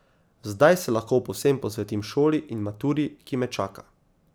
Zdaj se lahko povsem posvetim šoli in maturi, ki me čaka.